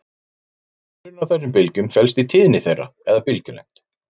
Munurinn á þessum bylgjum felst í tíðni þeirra eða bylgjulengd.